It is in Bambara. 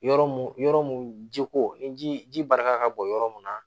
Yɔrɔ mun yɔrɔ mun jiko ni ji barika ka bon yɔrɔ mun na